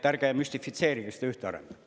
Ärge müstifitseerige seda ühte arendajat.